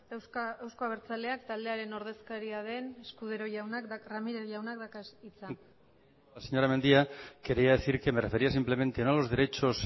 euzko abertzaleak taldearen ordezkaria den ramírez jaunak dauka hitza señora mendia quería decir que me refería simplemente no a los derechos